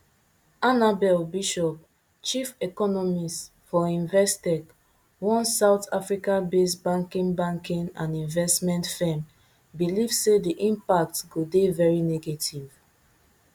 annabel bishop chief economist for investec one south africabased banking banking and investment firm believe say di impact go dey very negative